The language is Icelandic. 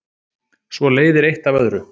svo leiðir eitt af öðru